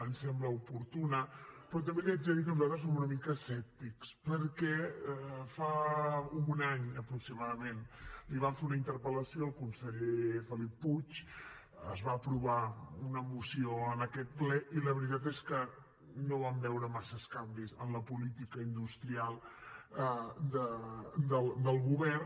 ens sembla oportuna però també li haig de dir que nosaltres som una mica escèptics perquè fa un any aproximadament li vam fer una interpel·lació al conseller felip puig es va aprovar una moció en aquest ple i la veritat és que no vam veure massa canvis en la política industrial del govern